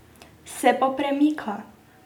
Se pa premika.